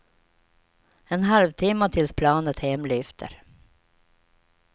En halvtimma tills planet hem lyfter.